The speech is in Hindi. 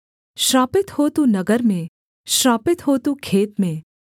श्रापित हो तू नगर में श्रापित हो तू खेत में